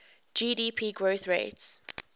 gdp growth rates